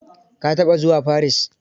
Ka taɓa zuwa Paris?